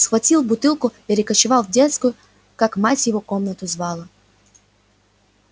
схватил бутылку перекочевал в детскую как мать его комнату звала